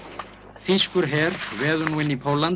þýskur her veður nú inn í Pólland